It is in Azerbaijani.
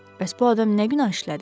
Bəs bu adam nə günah işlədib?